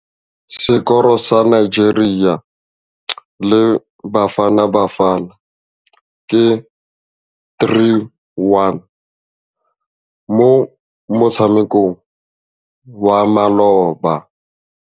Sekôrô sa Nigeria le Bafanabafana ke 3-1 mo motshamekong wa malôba.